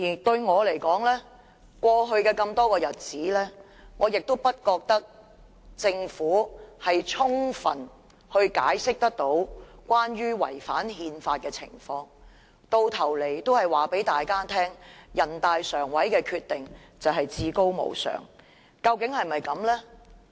對我而言，過去多個日子，我亦不覺得政府有充分解釋違反憲法的情況，到頭來只是告訴大家，人大常委會的決定是至高無上的。